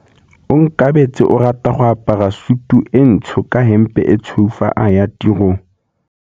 Onkabetse o rata go apara sutu e ntsho ka hempe e tshweu fa a ya tirong.